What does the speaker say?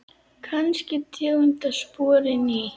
Kannski tegund af spori ný.